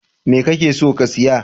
Me kake so ka siya?